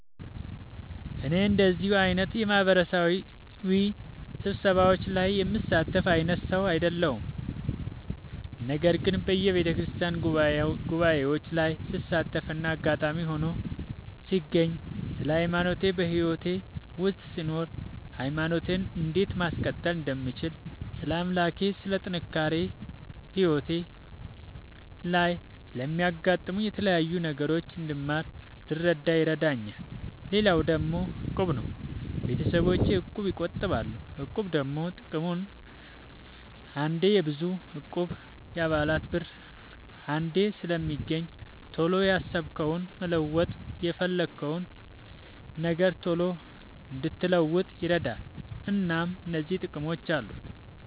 እኔ እንደዚህ አይነት የማህበራዊ ስብሰባዎች ላይ የምሳተፍ አይነት ሰው አይደለሁም። ነገር ግን በየቤተክርስቲያን ጉባኤዎች ላይ ስሳተፍና አጋጣሚ ሆኖ ስገኝ ስለ ሃይማኖቴ በህይወቴ ውስጥ ስኖር ሃይማኖቴን እንዴት ማስቀጠል እንደምችል ስለ አምላኬ ስለ ጥንካሬ ህይወቴ ላይ ስለሚያጋጥሙኝ የተለያዩ ነገሮች እንድማር እንድረዳ ይረዳኛል። ሌላው ደግሞ እቁብ ነው። ቤተሰቦቼ እቁብ ይጥላሉ። እቁብ ደግሞ ጥቅሙ አንዴ የብዙ እቁብ የአባላት ብር አንዴ ስለሚገኝ ቶሎ ያሰብከውን መለወጥ የፈለግከውን ነገር ቶሎ እንድትለውጥ ይረዳል። እናም እነዚህ ጥቅሞች አሉት።